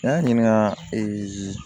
N y'a ɲininka ee